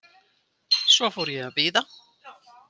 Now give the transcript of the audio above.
Svo fór ég að bíða.